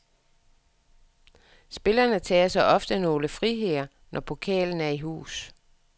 Spillere tager sig ofte nogle friheder, når pokalen er i hus.